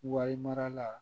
Wari mara la